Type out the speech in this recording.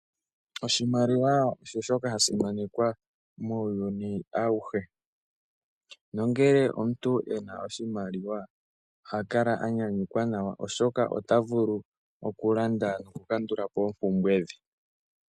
Oshimaliwa osho shoka hashi monikwa muuyuni awuhe. Nongele omuntu ena oshimaliwa oha kala anyanyukwa nawa oshoka ota vulu okulanda noku kandulapo oompumbwe dhe.